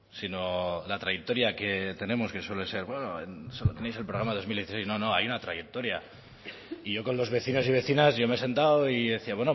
sino la trayectoria que tenemos que suele ser nuevo tenéis el programa de dos mil dieciséis no no hay una trayectoria y yo con los vecinos y vecinas yo me he sentado y yo decía